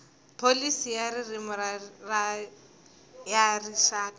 pholisi ya ririmi ya rixaka